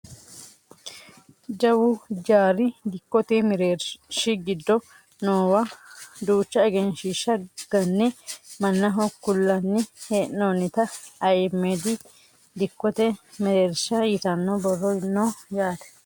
jawu hijaari dikkote mereershi giddo noowa duucha egenshiishsha ganne mannaho kullanni hee'noonnita ayiimedi dikkote mereersha yitanno borro no yaate .